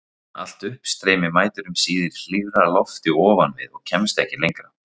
Allt uppstreymi mætir um síðir hlýrra lofti ofan við og kemst ekki lengra.